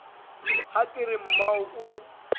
ha ke re mmao o